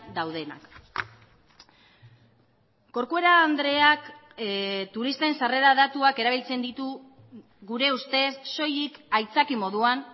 daudenak corcuera andreak turisten sarrera datuak erabiltzen ditu gure ustez soilik aitzaki moduan